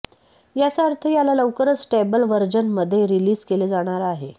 याचा अर्थ याला लवकरच स्टेबल व्हर्जन मध्ये रिलीज केले जाणार आहे